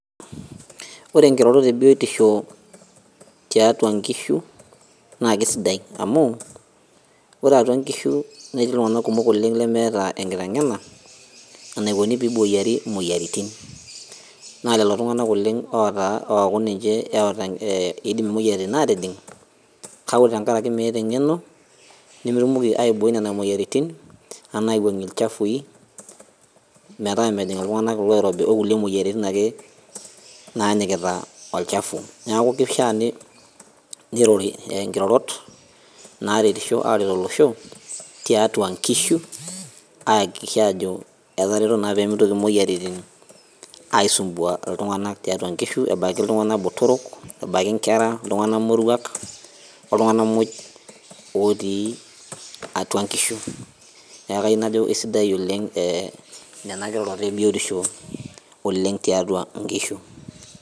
Ore nkirorot ebiotisho tiatua nkishu, na kesidai amu, ore atua nkishu netii iltung'anak kumok oleng lemeeta enkiteng'ena, enaikoni peiboyiari imoyiaritin. Na lelo tung'anak oleng ota oku ninche ota idim imoyiaritin atijing, kake ore tenkaraki meeta eng'eno, nemetumoki aibooi nena moyiaritin, ana aiwuang'ie ilchafui, metaa mejing' iltung'anak oloirobi okulie moyiaritin nake nanyikita olchafu. Neeku kishaa nirori nkirorot naretisho aret olosho, tiatua nkishu, aakikisha ajo etareto naa pemitoki moyiaritin aisumbua iltung'anak tiatua nkishu ebaiki iltung'anak botorok, ebaiki nkera iltung'anak moruak, oltung'anak moj otii atua nkishu, neeku kayieu najo esidai oleng nena kirorot ebiotisho oleng' tiatua inkishu.